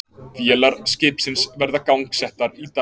Vélar skipsins verði gangsettar í dag